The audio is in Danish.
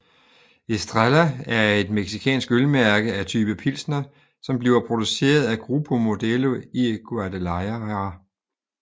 Estrella er et mexicansk ølmærke af type pilsner som bliver produceret af Grupo Modelo i Guadalajara